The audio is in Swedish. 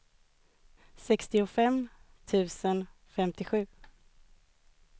sextiofem tusen femtiosju